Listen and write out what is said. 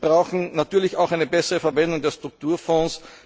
Wir brauchen natürlich auch eine bessere Verwendung der Strukturfonds.